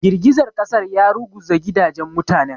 Girgizar ƙasar ya ruguza gidajen mutanen.